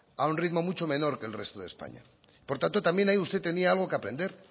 a un ritmo mucho menor que el resto de españa por tanto también ahí usted tenía algo que aprender